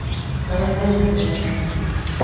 karanga thubu wa thamaki